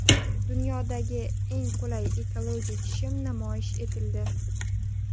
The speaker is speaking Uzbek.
Dunyodagi eng qulay ekologik shim namoyish etildi.